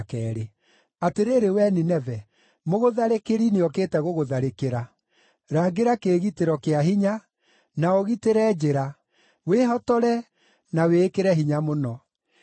Atĩrĩrĩ, wee Nineve, mũgũtharĩkĩri nĩokĩte gũgũtharĩkĩra. Rangĩra kĩĩgitĩro kĩa hinya, na ũgitĩre njĩra; wĩhotore, na wĩĩkĩre hinya mũno!